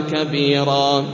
كَبِيرًا